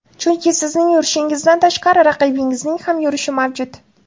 Chunki sizning yurishingizdan tashqari raqibingizning ham yurishi mavjud.